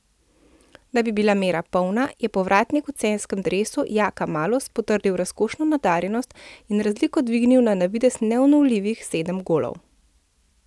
Da bi bila mera polna, je povratnik v celjskem dresu Jaka Malus potrdil razkošno nadarjenost in razliko dvignil na navidez neulovljivih sedem golov.